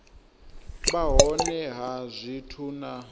vha hone ha zwithu na